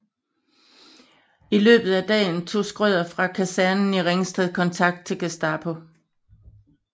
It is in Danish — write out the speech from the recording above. I løbet af dagen tog Schrøder fra kasernen i Ringsted kontakt til Gestapo